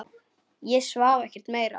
Ég svaf ekkert meira.